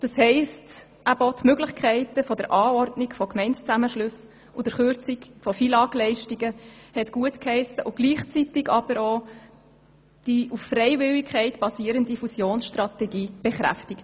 Damit hat es auch die Möglichkeit zur Anordnung von Gemeindezusammenschlüssen und zur Kürzung von FILAG-Leistungen gutgeheissen und gleichzeitig die auf Freiwilligkeit basierende Fusionsstrategie bekräftigt.